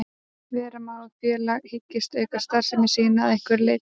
Vera má að félag hyggist auka starfsemi sína að einhverju leyti.